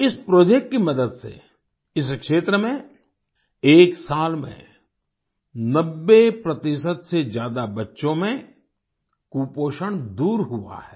इस प्रोजेक्ट की मदद से इस क्षेत्र में एक साल में 90 प्रतिशत से ज्यादा बच्चों में कुपोषण दूर हुआ है